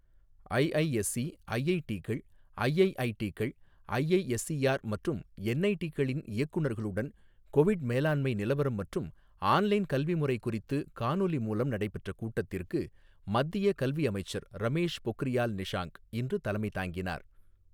IISc, ஐஐடிகள், ஐஐஐடிகள், IISER மற்றும் என்ஐடிகளின் இயக்குநர்களுடன் கொவிட் மேலாண்மை நிலவரம் மற்றும் ஆன்லைன் கல்வி முறை குறித்து காணொலி மூலம் நடைபெற்ற கூட்டத்திற்கு மத்திய கல்வி அமைச்சர் ரமேஷ் பொக்ரியால் நிஷாங்க் இன்று தலைமை தாங்கினார்.